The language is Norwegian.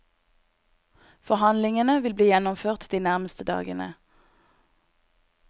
Forhandlingene vil bli gjennomført de nærmeste dagene.